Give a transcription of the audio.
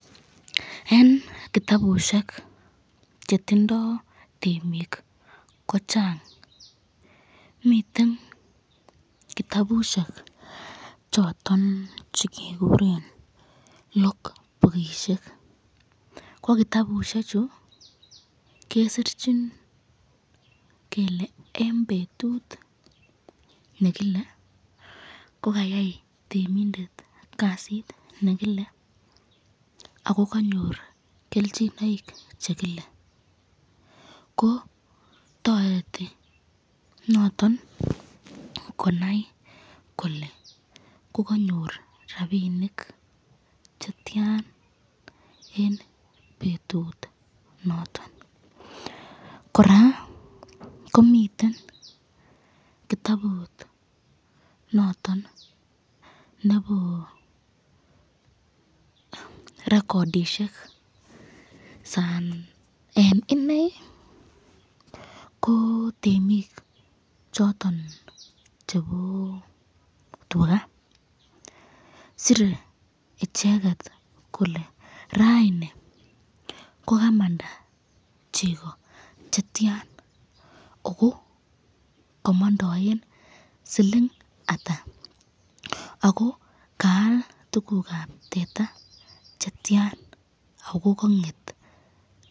En kitabushek che tindoi temik ko chang miten kitabushek choton che kiguren log bookishek ko kitabusiek chu kesirchin kele en betut nekile ko kayai temindet kasit nekila ago kanyor kelchinoik che kile, ko toreti noton konai kole koganyor rabinik che tyan en betut noton. Kora komiten kitabut noton nebo recordishek saan en inei ko temik choton chebo tuga sire icheget kole raini kogamanda chego che tyan ago komondoen siling ata ago kaal tuguk ab teta che tyan ago kong'et che tyan?